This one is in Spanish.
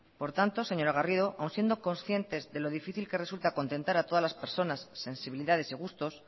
por tanto señora garrido aún siendo conscientes de lo difícil que resulta contentar a todas las personas sensibilidades y gustos